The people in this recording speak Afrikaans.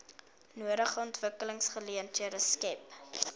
nodige ontwikkelingsgeleenthede skep